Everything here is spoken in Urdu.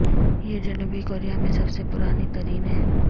یہ جنوبی کوریا میں سب سے پرانی ترین ہے